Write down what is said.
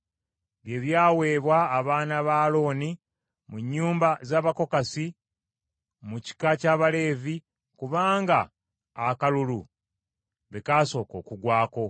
bye byaweebwa abaana ba Alooni mu nnyumba z’Abakokasi mu kika ky’Abaleevi kubanga akalulu be kasooka okugwako.